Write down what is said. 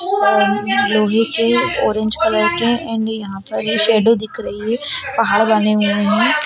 और लोहे के ऑरेंज कलर के एंड यहाँ पर ये शैडो दिख रही है पहाड़ बने हुए है।